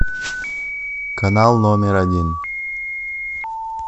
канал номер один